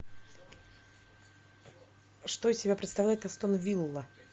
что из себя представляет астон вилла